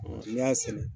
n'i y'a sɛnɛ